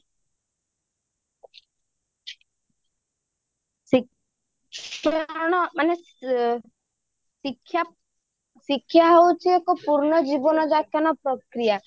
ଦେଖ ସେଇଗୁଡା କଣ ଶିକ୍ଷା ଶିକ୍ଷା ହେଉଛି ଏକ ପୂର୍ଣ୍ଣ ଜୀବନ ଯାପନ ପ୍ରକ୍ରିୟା